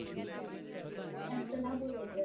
એમ તો ના બોલી